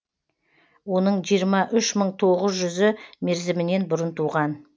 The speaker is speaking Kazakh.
оның жиырма үш мың тоғыз жүзі мерзімінен бұрын туған